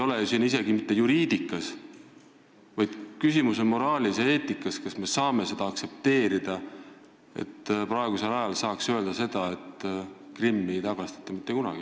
Küsimus ei ole isegi mitte juriidikas, vaid küsimus on moraalis ja eetikas, kas me saame aktsepteerida seda, kui praegusel ajal saab keegi öelda, et Krimmi ei tagastata mitte kunagi.